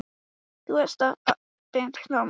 Þeir stálu honum frá okkur, plötuðu hann yfir.